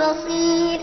بَصِيرٌ